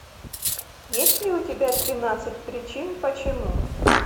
есть ли у тебя тринадцать причин почему